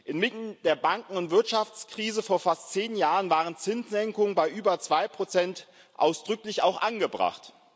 Inmitten der Banken und Wirtschaftskrise vor fast zehn Jahren waren Zinssenkungen bei über 2 ausdrücklich auch angebracht.